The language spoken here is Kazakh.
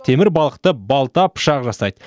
темір балқытып балта пышақ жасайды